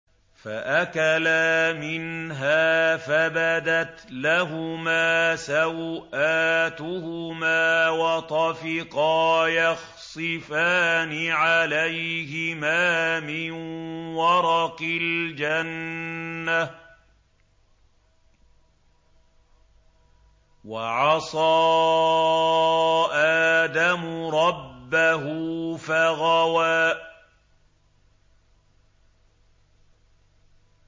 فَأَكَلَا مِنْهَا فَبَدَتْ لَهُمَا سَوْآتُهُمَا وَطَفِقَا يَخْصِفَانِ عَلَيْهِمَا مِن وَرَقِ الْجَنَّةِ ۚ وَعَصَىٰ آدَمُ رَبَّهُ فَغَوَىٰ